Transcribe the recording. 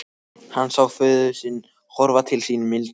Hann sá föður sinn horfa til sín mildilega.